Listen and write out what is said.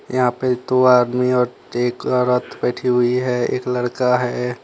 यहां पे दो आदमी और एक औरत बैठी हुई है एक लड़का है।